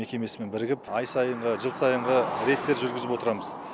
мекемесімен бірігіп ай сайынғы жыл сайынғы рейдтер жүргізіп отырамыз